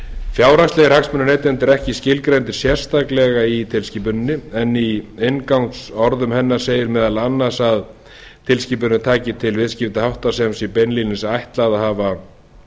fjárhagslegir hagsmunir neytenda eru ekki skilgreindir sérstaklega í tilskipuninni en í inngangsorðum hennar segir meðal annars að tilskipunin taki til viðskiptahátta sem sé beinlínis ætlað að hafa